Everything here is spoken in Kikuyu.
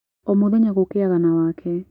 Ũmũthenya gũkĩaga na wake.